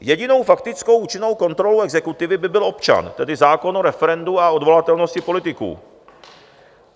Jedinou faktickou účinnou kontrolou exekutivy by byl občan, tedy zákon o referendu a odvolatelnosti politiků.